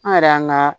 An yɛrɛ y'an ga